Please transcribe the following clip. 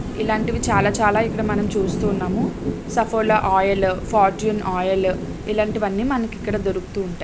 ఇలాంటివి చాలా చాలా ఇక్కడ మనం చూస్తున్నాము. సఫోలా ఆయిల్ ఫార్చూన్ ఆయిల్ ఇలాంటివి అన్ని ఇక్కడ మనకు ఇక్కడ దొరుకుతుంటాయి.